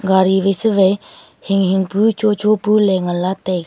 gari wai se wai hing hing pu cho cho pu ley ngan lah taiga.